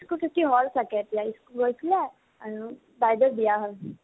school ছুটি হল চাগে school গৈছিলে আৰু বাইদেউৰ বিয়া হল।